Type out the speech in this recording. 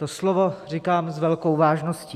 To slovo říkám s velkou vážností.